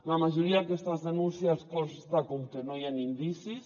la majoria d’aquestes denúncies consta com que no hi han indicis